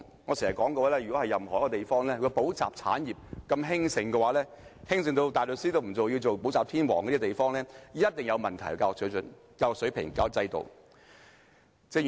我經常說，如有任何一個地方補習產業如此興盛，興盛到有人連大律師都不做，寧願做補習天王，這個地方的教育水準、教育水平及教育制度一定有問題。